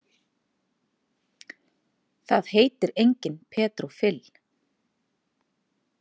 Það heitir enginn Pedro Fill.